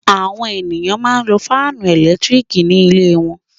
Àwọn ènìyàn máa ń lo fáánù ẹ̀lẹ́tíríkì ní ilé wọn.